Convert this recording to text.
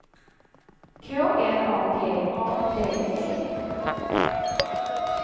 K L A G A D E